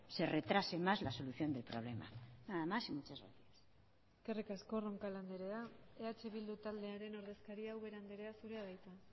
se retrase más la solución del problema nada más y muchas gracias eskerrik asko roncal andrea eh bildu taldearen ordezkaria ubera andrea zurea da hitza